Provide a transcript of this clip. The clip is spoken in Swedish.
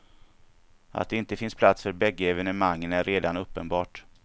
Att det inte finns plats för bägge evenemangen är redan uppenbart.